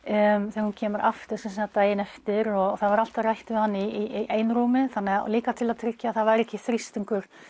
þegar hún kemur aftur daginn eftir og það var alltaf rætt við hann í einrúmi líka til að tryggja það væri ekki þrýstingur